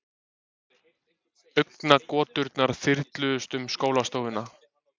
Augnagoturnar þyrluðust um skólastofuna.